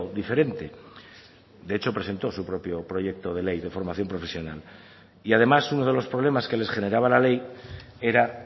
diferente de hecho presentó su propio proyecto de ley de formación profesional y además uno de los problemas que les generaba la ley era